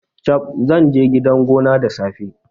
Chab! Zanje gida gone da safe